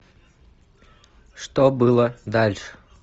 что было дальше